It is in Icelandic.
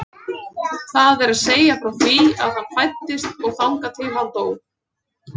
Það er að segja frá því að hann fæddist og þangað til að hann dó.